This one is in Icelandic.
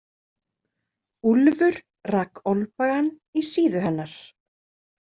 Úlfur rak olnbogann í síðu hennar.